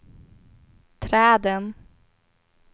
träden